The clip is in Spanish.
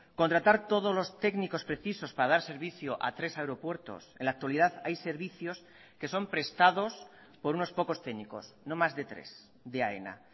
contratar todos los técnicos precisos para dar servicio a tres aeropuertos en la actualidad hay servicios que son prestados por unos pocos técnicos no más de tres de aena